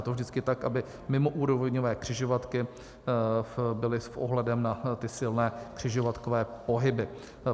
Je to vždycky tak, aby mimoúrovňové křižovatky byly s ohledem na ty silné křižovatkové pohyby.